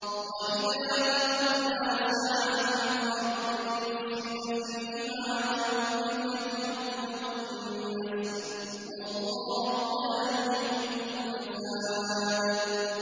وَإِذَا تَوَلَّىٰ سَعَىٰ فِي الْأَرْضِ لِيُفْسِدَ فِيهَا وَيُهْلِكَ الْحَرْثَ وَالنَّسْلَ ۗ وَاللَّهُ لَا يُحِبُّ الْفَسَادَ